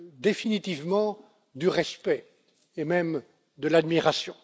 Uni définitivement du respect et même de l'admiration.